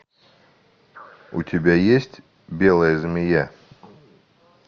у тебя есть белая змея